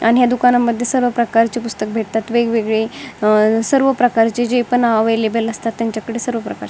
आणि ह्या दुकानामध्ये सर्व प्रकारची पुस्तक भेटतात वेगवेगळे सर्व प्रकारची जी पण अव्हेलेबल असतात त्यांच्याकडे सर्व प्रकार--